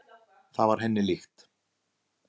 Það var henni líkt.